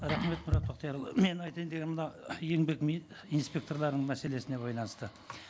рахмет мұрат бақтиярұлы мен айтайын дегенім мына еңбек инспекторларының мәселесіне байланысты